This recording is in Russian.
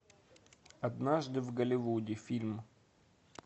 однажды в голливуде фильм